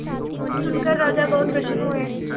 यह सुनकर राजा बहुत प्रसन्न हुए